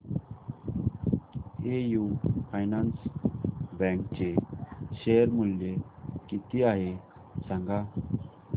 AU finance bank चे share मूल्य किती आहे सांगा